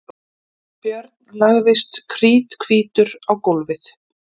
Björn lagðist kríthvítur á gólfið.